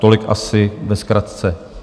Tolik asi ve zkratce.